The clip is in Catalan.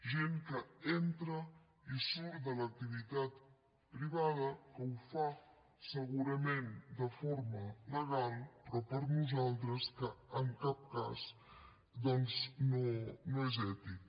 gent que entra i surt de l’activitat privada que ho fa segurament de forma legal però per nosaltres en cap cas doncs no és ètic